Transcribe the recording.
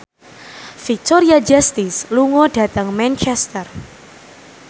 Victoria Justice lunga dhateng Manchester